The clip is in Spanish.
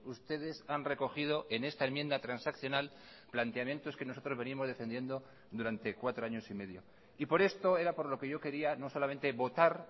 ustedes han recogido en esta enmienda transaccional planteamientos que nosotros venimos defendiendo durante cuatro años y medio y por esto era por lo que yo quería no solamente votar